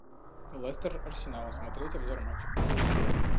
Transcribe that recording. лестер арсенал смотреть обзор матча